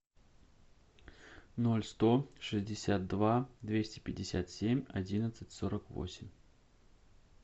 ноль сто шестьдесят два двести пятьдесят семь одиннадцать сорок восемь